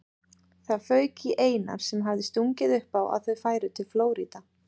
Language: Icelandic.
Það fauk í Einar sem hafði stungið upp á að þau færu til Flórída.